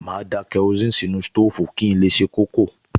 Màá da kerosíìnì sínú sítóòfù kí n lè se kókò